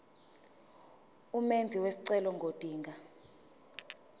umenzi wesicelo ngodinga